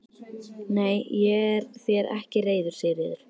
Nei, ég er þér ekki reiður Sigríður.